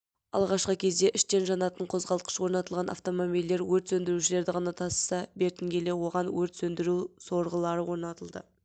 алғашқы кезде іштен жанатын қозғалтқыш орнатылған автомобильдер өрт сөндірушілерді ғана тасыса бертін келе оған өрт сөндіру сорғылары орнатылды